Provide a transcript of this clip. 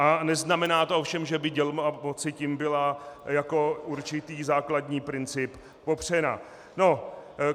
A neznamená to ovšem, že by dělba moci tím byla jako určitý základní princip popřena.